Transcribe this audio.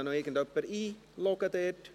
Könnte ihn bitte noch jemand einloggen?